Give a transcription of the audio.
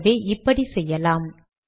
ஆகவே இப்படிச்செய்யலாம்